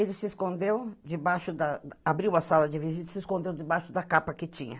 Ele se escondeu debaixo da... Abriu a sala de visita e se escondeu debaixo da capa que tinha.